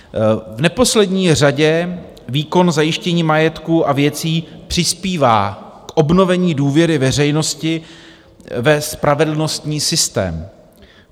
V neposlední řadě výkon zajištění majetku a věcí přispívá k obnovení důvěry veřejnosti ve spravedlnostní systém.